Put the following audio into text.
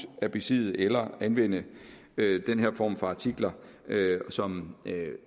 at besidde eller anvende den form for artikler som